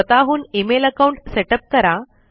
स्वतःहून email account setup करा